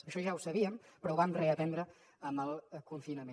això ja ho sabíem però ho vam reaprendre amb el confinament